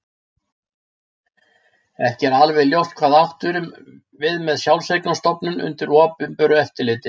Ekki er alveg ljóst hvað átt er við með sjálfseignarstofnun undir opinberu eftirliti.